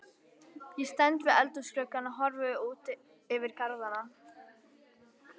Ég stend við eldhúsgluggann og horfi út yfir garðana.